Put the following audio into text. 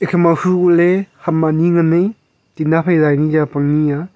ema hu kohley ham anyi ngan ai tinna fai zai ka nyia pang nyia.